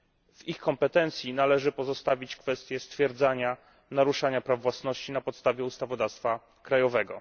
W ich kompetencji należy pozostawić kwestie stwierdzania naruszania praw własności na podstawie ustawodawstwa krajowego.